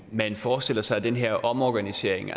man forestiller sig at den her omorganisering